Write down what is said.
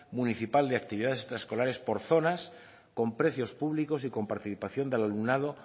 municipal de actividades extraescolares por zonas con precios públicos y con participación del alumnado